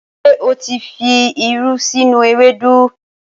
Ṣé o tí fi irú sínú ewédú?